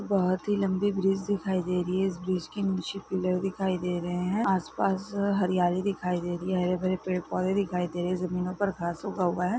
बहुत ही लम्बी ब्रिज दिखाई दे रही हैइस ब्रिज के निचे पिलर दिखाई दे रहे है आसपास हरियाली दिखाई दे रही है हरे भरे पेड़ पोधे दिखाई दे रहे है जमीनो पर घास उगा हुआ है।